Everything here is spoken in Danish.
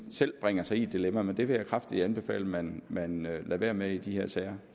selv bringer sig i et dilemma men det vil jeg kraftigt anbefale man man lader være med i de her sager